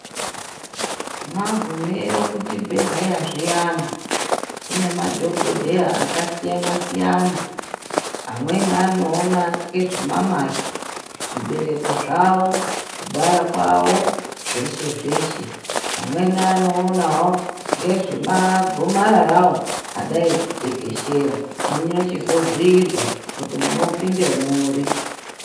Vagumeyiyo kuchibhedleya antu ,kunemadhogodheya akasiyanasiyana ,amweni anowona ngezvana mhai ,zvibereko zvavo, kubara kwavo zveshe zveshe. Amweni anowonawo ngezve magomararawo adai kutekeshera. Muchizobhuyirwa kuti munopinde muri.